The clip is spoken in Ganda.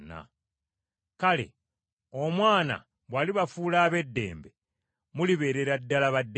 Kale, Omwana bw’alibafuula ab’eddembe, mulibeerera ddala ba ddembe.